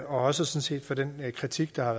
også for den kritik der